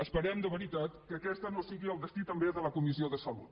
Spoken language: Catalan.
esperem de veritat que aquest no sigui el destí també de la comissió de salut